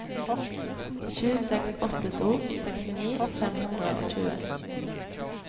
sju seks åtte to sekstini fem hundre og tjue